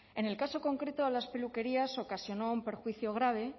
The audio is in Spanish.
en el caso concreto a las peluquerías ocasionó un perjuicio grave